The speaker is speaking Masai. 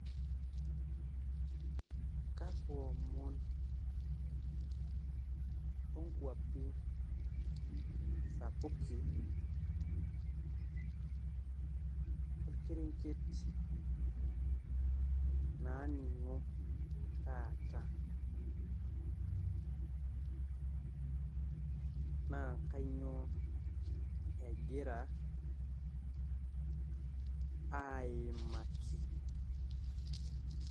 kakua omon oonkuapi sapuki, olkerenket naningó taata naa kainyioo egiraa aaimaki